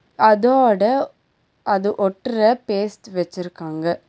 அதோட அது ஒட்ற பேஸ்ட் வெச்சிருக்காங்க.